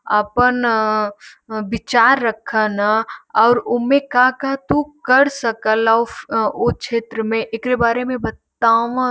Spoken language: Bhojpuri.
आपन विचार रख न और उमें का का तू कर सकला उफ ऊ क्षेत्र में एकरे बारे में बताव --